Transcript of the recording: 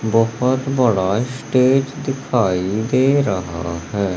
बहुत बड़ा स्टेज दिखाई दे रहा है।